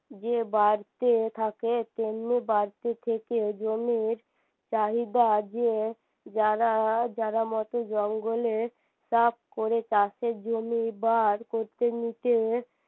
যে বাড়তে থাকে তেমনি বাড়তে থেকে জমির চাহিদা যে যারা যারা মতে জঙ্গলে করে চাষের জমি বার করতে নিতে